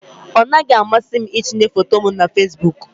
Ọ naghị amasị m itinye foto m na Facebook